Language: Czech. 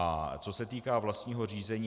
A co se týká vlastního řízení.